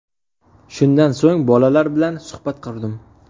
Shundan so‘ng, bolalar bilan suhbat qurdim.